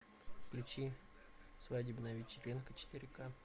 включи свадебная вечеринка четыре ка